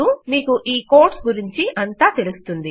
అప్పుడు మీకు ఈ కోడ్స్ గురించి అంతా తెలుస్తుంది